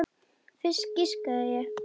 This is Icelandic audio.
Fisk, giskaði ég.